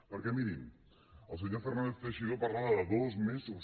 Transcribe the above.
perquè mirin el senyor fernàndez teixidó parlava de dos mesos